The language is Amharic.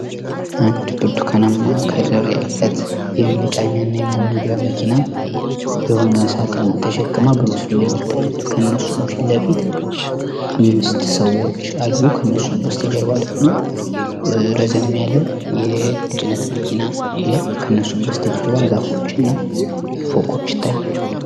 አንድ ብርቱካን ቀለም ያላት የመጫኛና የማውረጃ መኪና የሆነ ሳጥን ተሸክማ በምስሉ ላይ ይታያል። ከሱ ፍለፊት አምስት ሰዎች አሉ ከእነርሱም ፊት ለፊት ከጀርባ ደግሞ ረዘም ያለ የጭነት መኪና አለ ከእነርሱም በስተጀርባ ዛፎችና ፎቆች ይታያሉ።